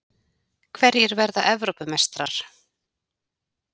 Hverjir verða Evrópumeistarar?